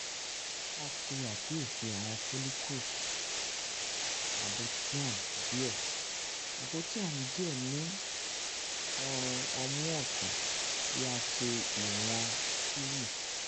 a ṣe akiyesi awọn follicles um nabothian diẹ nabothian diẹ um ni ọrun ọmu ọtun ti a ṣe iwọn three